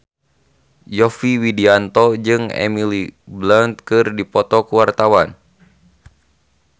Yovie Widianto jeung Emily Blunt keur dipoto ku wartawan